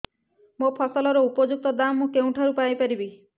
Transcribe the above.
ମୋ ଫସଲର ଉପଯୁକ୍ତ ଦାମ୍ ମୁଁ କେଉଁଠାରୁ ପାଇ ପାରିବି